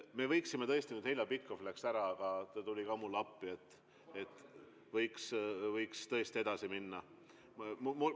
Me võiksime nüüd – Heljo Pikhof läks ära, aga ta tuli ka mulle appi – tõesti edasi minna.